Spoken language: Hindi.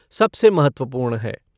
सबसे महत्वपूर्ण है।